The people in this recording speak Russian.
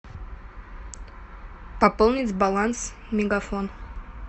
пополнить баланс мегафон